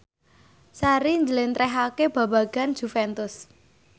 Sari njlentrehake babagan Juventus